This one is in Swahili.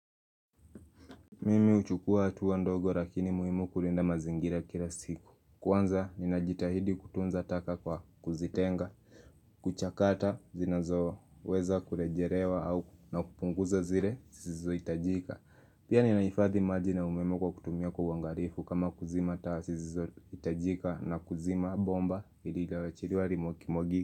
Mimi huchukua hatua ndogo lakini muhimu kulinda mazingira kila siku. Kwanza ninajitahidi kutunza taka kwa kuzitenga kuchakata zinazoweza kurejelewa au na kupunguza zile zisizohitajika Pia ninahifadhi maji na umeme kwa kutumia kwa uangalifu kama kuzima taa saa zisizohitajika na kuzima bomba lililoachiliwa likimwagika.